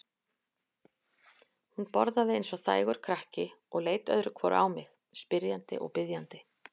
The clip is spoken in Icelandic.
Hún borðaði eins og þægur krakki og leit öðru hvoru á mig, spyrjandi og biðjandi.